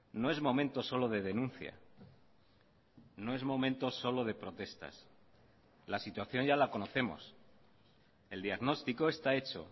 no es momento solo de denuncia no es momento solo de protestas la situación ya la conocemos el diagnóstico está hecho